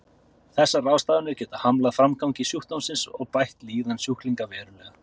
Þessar ráðstafanir geta hamlað framgangi sjúkdómsins og bætt líðan sjúklinganna verulega.